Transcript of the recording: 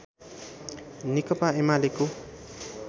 नेकपा एमालेको